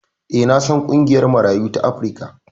E, na san ƙungiyar Marayu ta Afrika.